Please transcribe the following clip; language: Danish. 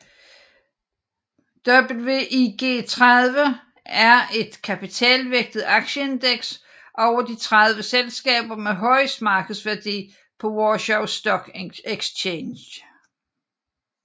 WIG30 er et kapitalvægtet aktieindeks over de 30 selskaber med højest markedsværdi på Warsaw Stock Exchange